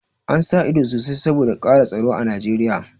An sa ido sosai saboda ƙara tsaro a Nijeriya